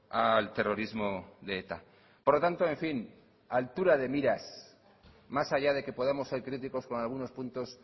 al terrorismo de eta por lo tanto en fin altura de miras más allá de que podamos ser críticos con algunos puntos